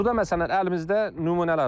Burda məsələn əlimizdə nümunələr var.